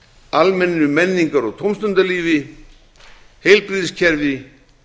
almennu menningar og tómstundalífi heilbrigðiskerfi